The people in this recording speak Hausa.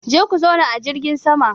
Je ku zauna a jirgin sama!